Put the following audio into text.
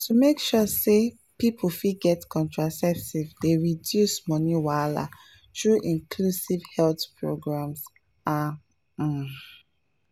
to make sure say people fit get contraceptives dey reduce money wahala through inclusive health programs ah um